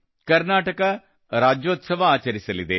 Karnataka Rajyotsava ಆಚರಿಸಲಿವೆ